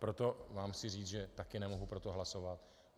Proto vám chci říct, že taky nemohu pro to hlasovat.